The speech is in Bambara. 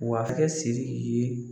Wa a bɛ kɛ Siriki ye